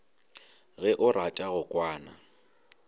ge o rata go kwana